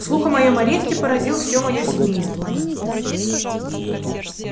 слух о моем аресте поразил все моё семейство